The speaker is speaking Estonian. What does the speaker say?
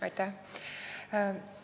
Aitäh!